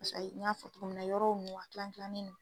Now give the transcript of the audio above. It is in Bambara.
Pase ayi n y'a fɔ cogo min na yɔrɔ ninnu a kilan kilannen do.